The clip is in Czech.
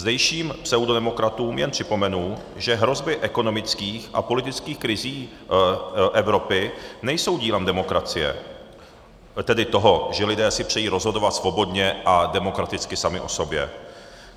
Zdejším pseudodemokratům jen připomenu, že hrozby ekonomických a politických krizí Evropy nejsou dílem demokracie, tedy toho, že lidé si přejí rozhodovat svobodně a demokraticky sami o sobě.